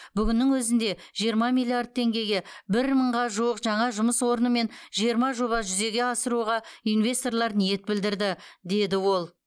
бүгіннің өзінде жиырма миллиард теңгеге бір мыңға жуық жаңа жұмыс орнымен жиырма жоба жүзеге асыруға инвесторлар ниет білдірді деді ол